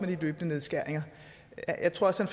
de løbende nedskæringer jeg tror også